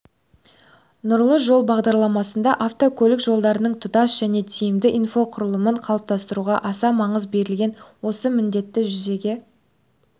нұрлы жол бағдарламасында автокөлік жолдарының тұтас және тиімді инфрақұрлымын қалыптастыруға аса маңыз берілген осы міндетті жүзеге